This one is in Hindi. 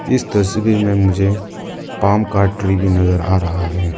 इस तस्वीर में मुझे पाम का ट्री भी नजर आ रहा है।